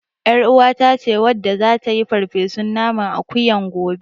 YarUwata ce wadda zata yi farfesun naman akuyan gobe.